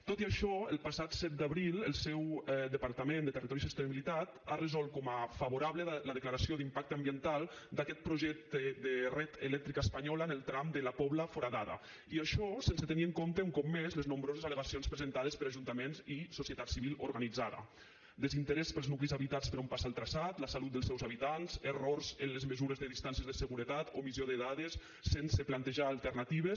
tot i això el passat set d’abril el seu departament de territori i sostenibilitat ha resolt com a favorable la declaració d’impacte ambiental d’aquest projecte de red eléctrica española en el tram de la pobla foradada i això sense tenir en compte un cop més les nombroses al·legacions presentades per ajuntaments i societat civil organitzada desinterès pels nuclis habitats per on passa el traçat la salut dels seus habitants errors en les mesures de distàncies de seguretat omissió de dades sense plantejar alternatives